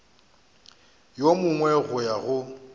yo mongwe go ya go